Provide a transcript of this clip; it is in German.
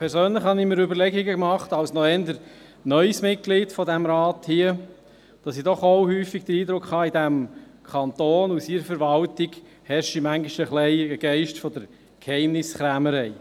Als eher neues Mitglied dieses Rats habe ich mir persönlich überlegt, dass ich doch häufiger den Eindruck habe, in diesem Kanton und seiner Verwaltung herrsche manchmal etwas ein Geist der Geheimniskrämerei.